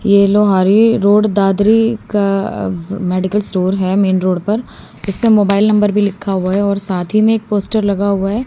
ये लोहाड़ी रोड दादरी का medical store है मेन रोड पर इसने मोबाइल नंबर भी लिखा हुआ है और साथ ही में एक पोस्टर लगा हुआ है।